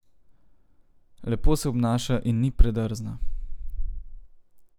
Lepo se obnaša in ni predrzna.